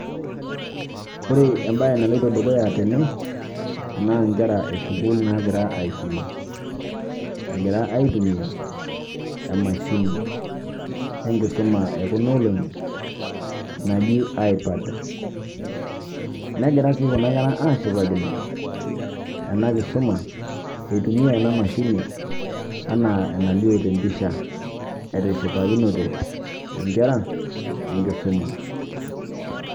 Ore ebaye nailoitoo dukuya tene naa nkeraa e sukulul nagira esomaa . Agiraa aitumia emashini enkisuma e kuloo oolong'i naaji ipad. Negiraa sii kuna nkeraa ashipaakino ena nkisoma etumia ena mashiini ena naileo te mpishaa. Etishipakinote nkeraa enkisomaa.